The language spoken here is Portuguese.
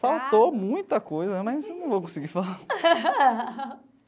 Faltou muita coisa, mas eu não vou conseguir falar.